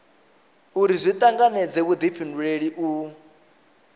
uri zwi tanganedze vhudifhinduleli u